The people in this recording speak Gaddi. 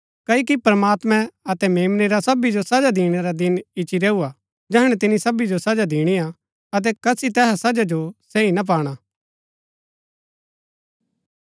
क्ओकि प्रमात्मैं अतै मेम्नै रा सो सबी जो सजा दिणै रा दिन ईच्ची रैऊ हा जैहणै तिन्या सबी जो सजा दिणी हा अतै कसी तैहा सजा जो सही ना पाणा